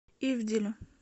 ивделю